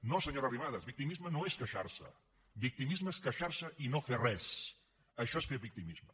no senyora arrimadas victimisme no és queixarse victimisme és queixarse i no fer res això és fer victimisme